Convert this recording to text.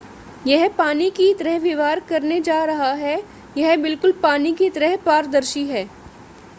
यह पानी की तरह व्यवहार करने जा रहा है यह बिल्कुल पानी की तरह पारदर्शी है